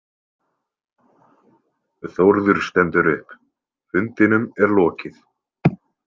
Þórður stendur upp, fundinum er lokið.